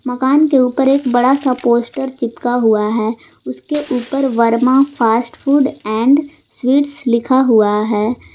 मकान के ऊपर एक बड़ा सा पोस्टर चिपका हुआ है उसके ऊपर Verma fast food and sweets लिखा हुआ है।